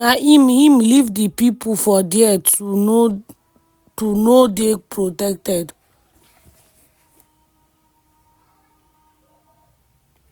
na im im leave di pipo for dia to no dey protected.